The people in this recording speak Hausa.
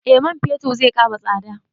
Eh man fetir zai ƙara tsada